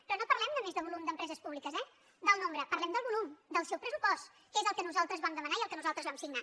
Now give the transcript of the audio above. però no parlem només del nombre d’empreses públiques eh parlem del volum del seu pressupost que és el que nosaltres vam demanar i el que nosaltres vam signar